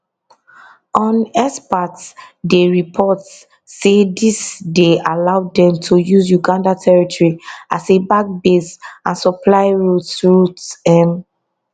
un experts dey report say dis dey allow dem to use uganda territory as a back base and supply route route um